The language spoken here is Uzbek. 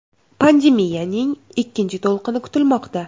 Pandemiyaning ikkinchi to‘lqini kutilmoqda.